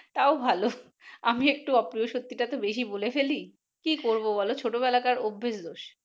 তাও ভালো, আমি একটু অপ্রিয় সত্যিটা তো একটু বেশি বলি ফেলি, কি করবো বলো ছোট বেলাকার অভ্যেস দোষ।